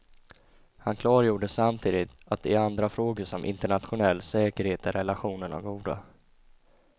Han klargjorde samtidigt att i andra frågor som internationell säkerhet är relationerna goda.